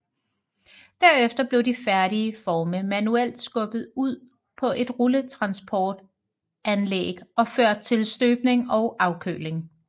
Derefter blev de færdige forme manuelt skubbet ud på et rulletransportanlæg og ført til støbning og afkøling